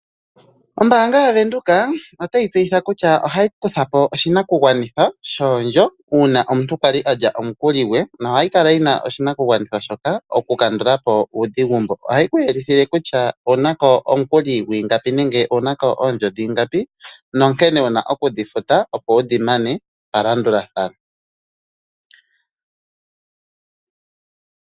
Ombaanga yaVenduka otayi tseyitha kutya ohayi kutha po oshinakugwanithwa shoondjo uuna omuntu kwali a lya omukuli gwe noha yi kala yi na oshinakugwanithwa shoka oku kandula po uudhigu mbu. Ohayi ku yelithile kutya ouna ko omukuli gwiingapi nenge ouna ko oondjo dhiingapi, no nkene wuna oku dhi futa opo wudhi mane palandulathano.